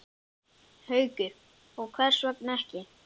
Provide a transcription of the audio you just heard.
Haukur: Og hvers vegna ekki?